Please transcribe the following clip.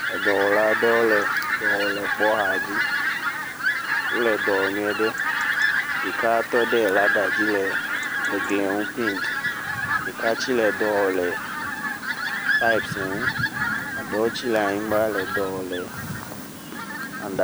Edɔwɔla aɖewo le dɔ wɔm le kpɔ xa dzi wole dɔ wɔ nyuie ɖe ɖeka tɔ ɖe lada dzi le eglie ŋu paint, ɖeka tse le dɔwɔ le pepi ŋu, eɖewo tse le anyigba le edɔ wɔm.